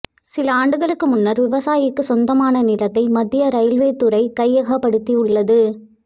சில ஆண்டுகளுக்கு முன்னர் விவசாயிக்கு சொந்தமான நிலத்தை மத்திய ரயில்வே துறை கையகப்படுத்தியுள்ளது